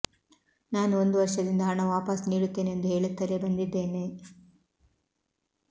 ನಾನು ಒಂದು ವರ್ಷದಿಂದ ಹಣ ವಾಪಾಸ್ ನೀಡುತ್ತೇನೆ ಎಂದು ಹೇಳುತ್ತಲೇ ಬಂದಿದ್ದೇನೆ